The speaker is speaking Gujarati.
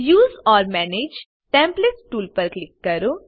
use or manage templates tool પર ક્લિક કરો